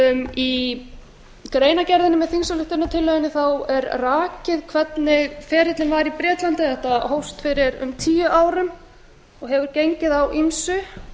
í greinargerðinni með þingsályktunartillögunni er rakið hvernig ferillinn var í bretlandi þetta hófst fyrir um tíu árum og hefur gengið á ýmsu